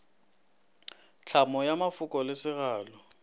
tlhamo ya mafoko le segalo